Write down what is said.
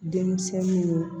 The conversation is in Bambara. Denmisɛnninw